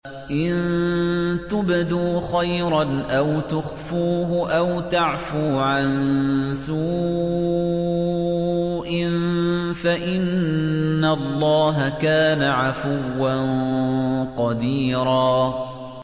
إِن تُبْدُوا خَيْرًا أَوْ تُخْفُوهُ أَوْ تَعْفُوا عَن سُوءٍ فَإِنَّ اللَّهَ كَانَ عَفُوًّا قَدِيرًا